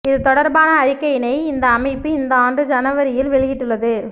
இது தொடர்பான அறிக்கையினை இந்த அமைப்பு இந்த ஆண்டு ஜனவரியில் வெளியிட்டுள்ளது